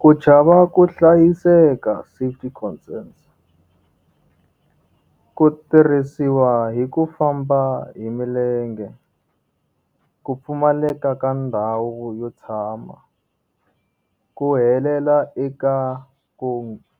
Ku chava ku hlayiseka safety concerns. Ku tirhisiwa hi ku famba hi milenge. Ku pfumaleka ka ndhawu yo tshama. Ku helela eka ku